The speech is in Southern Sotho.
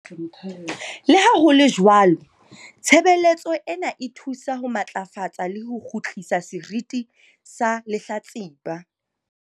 "Le ha ho le jwalo, tshebeletso ena e thusa ho matlafatsa le ho kgutlisa seriti sa lehlatsipa."